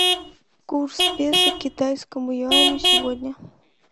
курс песо к китайскому юаню сегодня